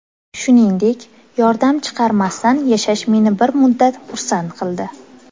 Shuningdek, yordam chaqirmasdan yashash meni bir muddat xursand qildi.